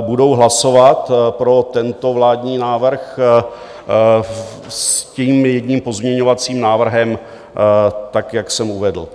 budou hlasovat pro tento vládní návrh s tím jedním pozměňovacím návrhem, tak jak jsem uvedl.